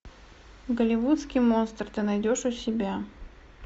голливудский монстр ты найдешь у себя